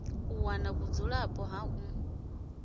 u wana vhudzulapo ha ḽi